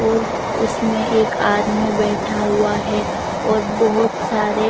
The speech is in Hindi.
और उसमें एक आदमी बैठा हुआ है और बहुत सारे--